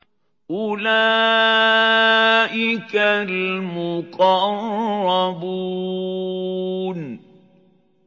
أُولَٰئِكَ الْمُقَرَّبُونَ